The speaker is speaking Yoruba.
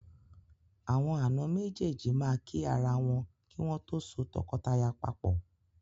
Àwọn àna méjéèjì máa kí ara wọn kí wọ́n tó so tọkọtaya papọ̀.